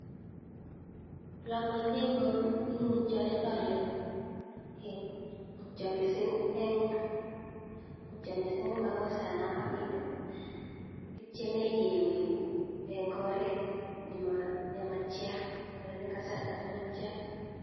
Ole amwaitoi eng mutyonet alen, mutyo mising eng, mutyo mising eng makosana kapiit, kitieme keweku eng oret nematia anan eng kasarta ne matia.